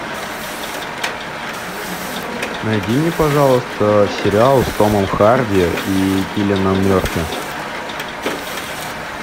найди мне пожалуйста сериал с томом харди и киллианом мерфи